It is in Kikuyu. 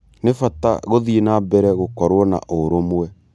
Nĩ bata gũthiĩ nambere gũkorwo na ũrũmwe.